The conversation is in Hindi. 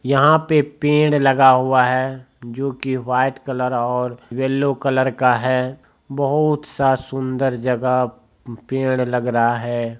यहाँ पर पेड़ लगा हुआ है जो की वाइट कलर और येल्लो कलर का है बहुत सा सुन्दर जगह पेड़ लग रहा है।